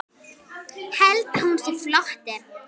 Held að hún sé flótti.